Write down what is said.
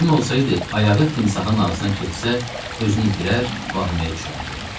Kim olsaydı, ayağı timsahın ağzına keçsə, özünü itirər, vahiməyə düşərdi.